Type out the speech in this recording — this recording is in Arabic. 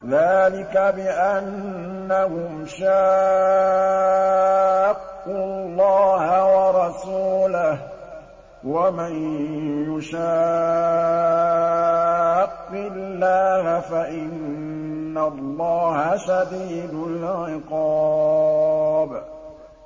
ذَٰلِكَ بِأَنَّهُمْ شَاقُّوا اللَّهَ وَرَسُولَهُ ۖ وَمَن يُشَاقِّ اللَّهَ فَإِنَّ اللَّهَ شَدِيدُ الْعِقَابِ